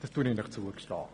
Das gestehe ich Ihnen zu.